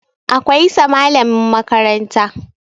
Akwai sa malamin makaranta